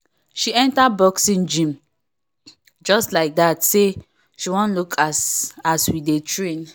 she enter boxing gym just like that say she wan look as as we dey train